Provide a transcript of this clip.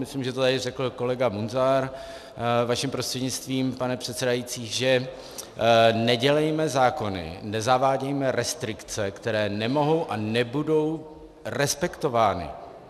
Myslím, že to tady řekl kolega Munzar, vaším prostřednictvím, pane předsedající, že nedělejme zákony, nezavádějme restrikce, které nemohou a nebudou respektovány.